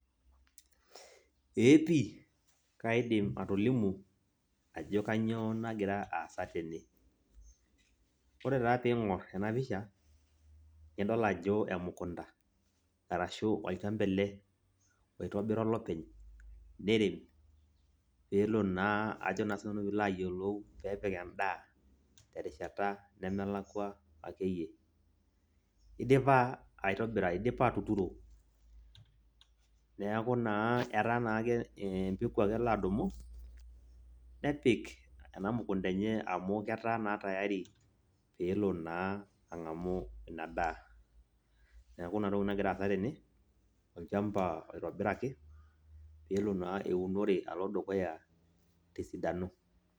Eeh pii, kaidim atolimu ajo kainyoo nagira aasa tene, ore naa piingor ena pisha , nidol ajo emukunta, ashu olchamba ele oitobira olopeny, neirem pee elo naa, ajo naa sintanu peelo apik endaa terishata nemelakwa ake iyie. Eidipa aitobira, eidipa atuturo neaku naa etaa empeko ake elo adumu, nepik ena mukunta enye amu etaa naa tiyari peelo naa ang'amu Ina daa. Neaku Ina toki nagira aasa tene, olchamba oitobiraki pelo naa eunore alo dukuya tesidano.